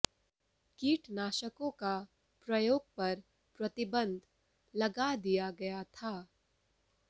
कीटनाशकों का प्रयोग पर प्रतिबंध लगा दिया गया था